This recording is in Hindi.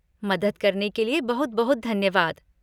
मदद करने के लिए बहुत बहुत धन्यवाद।